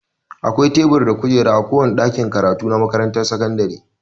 Akwai tebur da kujeraa kowane ɗakin karatu na makaranrar sakandire.